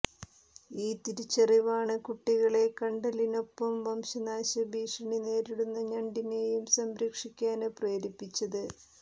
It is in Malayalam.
ഈ തിരിച്ചറിവാണ് കുട്ടികളെ കണ്ടലിനൊപ്പം വംശനാശ ഭീഷണി നേരിടുന്ന ഞണ്ടിനെയും സംരക്ഷിക്കാന് പ്രേരിപ്പിച്ചത്